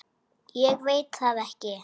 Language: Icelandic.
Ég veit það ekki